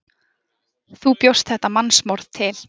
Þú bjóst þetta mannsmorð til.